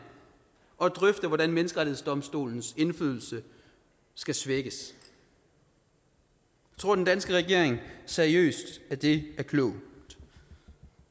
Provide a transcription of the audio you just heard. og drøfte hvordan menneskerettighedsdomstolens indflydelse skal svækkes tror den danske regering seriøst at det er klogt